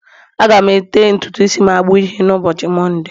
Aga m ete ntutu isi m agba uhie n'ụbọchị Mọnde